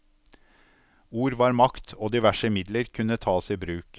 Ord var makt, og diverse midler kunne tas i bruk.